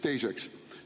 Teiseks.